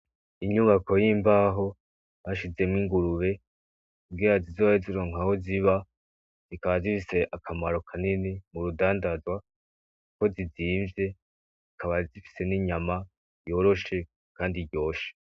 Inyubako y'imbaho bashizemwo ingurube kugirango zi zoronke aho ziba zi kaba zifise akamaro kanini murudandazwa kuko zi zimvye zikaba zifise n'inyama yoroshe kandi iryoshe.